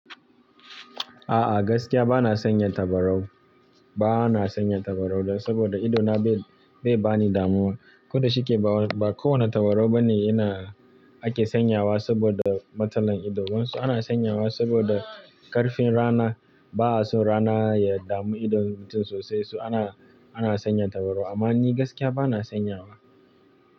A'a gaskiya ba na sanya tabarau, ba na sanya tabarau da saboda idona bai bani damuwa. Kuda shi ke ba, ba kowane tabarau bane ina ake sanyawa saboda matsalan ido. Wasu ana sanyawa saboda ƙarfin rana, ba'a so rana ya damu idon mutum sosai, su ana, ana sanya tabarau amma ni gaskiya ba na sanyawa.